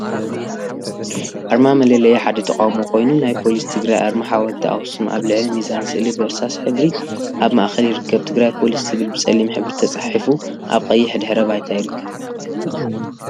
ኣርማ መለለይ ሓደ ተቃም ኮይኑ፥ ናይ ፖሊስ ትግራይ ኣርማ ሓወልቲ ኣክሱም ኣብ ልዕሊ ሚዛን ስእሊ ብእርሳስ ሕብሪ ኣብ ማእከል ይርከብ። ትግራይ ፖሊስ ዝብል ብፀሊም ሕብሪ ተጻሒፉ ኣብ ቀይሕ ድሕረ ባይታ ይርከብ።